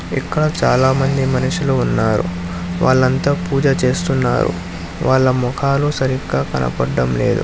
ఇక్కడ చాలామంది మనుషులు ఉన్నారు వాళ్లంతా పూజ చేస్తున్నారు వాళ్ళ ముఖాలు సరిగ్గా కనబడటం లేదు.